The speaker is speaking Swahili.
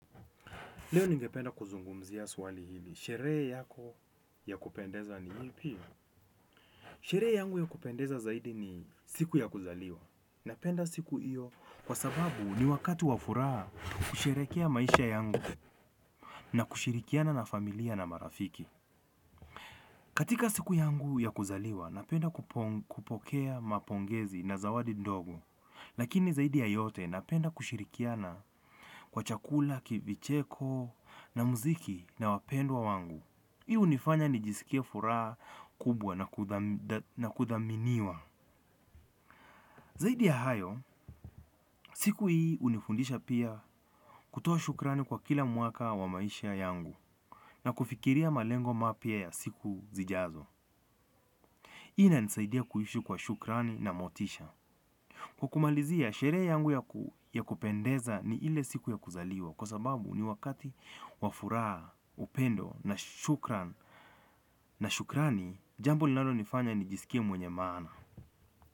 Leo ningependa kuzungumzia swali hili. Sherehe yako ya kupendeza ni hii ipi? Sherehe yangu ya kupendeza zaidi ni siku ya kuzaliwa napenda siku hiyo kwa sababu ni wakati wa furaha kusherehekea maisha yangu na kushirikiana na familia na marafiki. Katika siku yangu ya kuzaliwa, napenda kupo kupokea mapongezi na zawadi ndogo. Lakini zaidi ya yote napenda kushirikiana kwa chakula, ki vicheko na muziki na wapendwa wangu. Hii hunifanya nijisikie furaha kubwa na kudhamdh na kudhaminiwa. Zaidi ya hayo, siku hii hunifundisha pia kutoa shukrani kwa kila mwaka wa maisha yangu na kufikiria malengo mapya ya siku zijazo. Hii inanisaidia kuishi kwa shukrani na motisha. Kukumalizia, shere yangu yaku ya kupendeza ni ile siku ya kuzaliwa kwa sababu ni wakati wafuraha, upendo na shukrani, jambo linonifanya nijisikie mwenye maana.